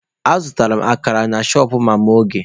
Azụrụ m akara na shọpụ mama Oge.